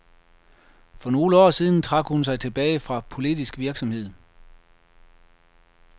For nogle år siden trak hun sig tilbage fra politisk virksomhed.